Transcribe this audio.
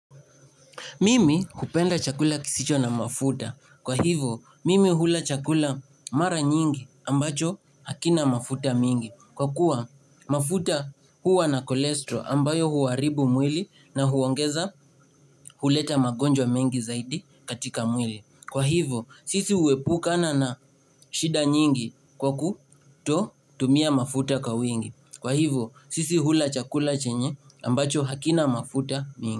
Mimi hupenda chakula kisicho na mafuta. Kwa hivo, mimi hula chakula mara nyingi ambacho hakina mafuta mingi. Kwa kuwa, mafuta huwa na kolestro ambayo huharibu mwili na huongeza huleta magonjwa mengi zaidi katika mwili. Kwa hivo, sisi uhepu kana na shida nyingi kwa kuto tumia mafuta kwa wingi. Kwa hivyo, sisi hula chakula chenye ambacho hakina mafuta mingi.